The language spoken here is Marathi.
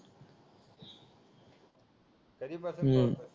हम्म